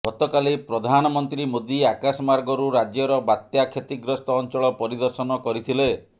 ଗତକାଲି ପ୍ରଧାନମନ୍ତ୍ରୀ ମୋଦି ଆକାଶମାର୍ଗରୁ ରାଜ୍ୟର ବାତ୍ୟା କ୍ଷତିଗ୍ରସ୍ତ ଅଞ୍ଚଳ ପରିଦର୍ଶନ କରିଥିଲେ